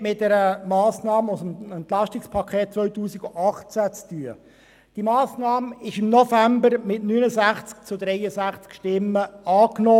Diese Massnahme wurde im November mit 69 zu 63 Stimmen angenommen.